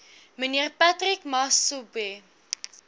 mnr patrick masobe